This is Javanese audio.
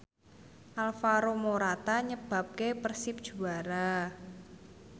Alvaro Morata nyebabke Persib juara